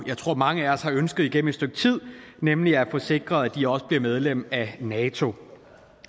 jeg tror mange af os har ønsket igennem et stykke tid nemlig at få sikret at de også bliver medlem af nato